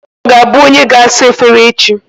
Victor ga-abụ onye ga-asa efere echi.